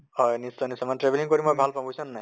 হয় নিশ্চয় নিশ্চয় মানে travelling কৰি মই ভাল পাওঁ বুইছ নে নাই।